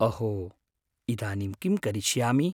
अहो! इदानीं किं करिष्यामि?